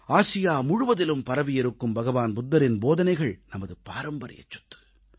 Asia முழுவதிலும் பரவியிருக்கும் புத்தபிரானின் போதனைகள் நமது பாரம்பரியச் சொத்து